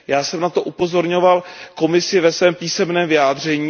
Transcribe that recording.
Já jsem na to upozorňoval Komisi ve svém písemném vyjádření.